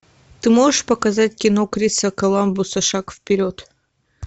ты можешь показать кино криса коламбуса шаг вперед